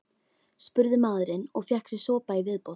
spurði maðurinn og fékk sér sopa í viðbót.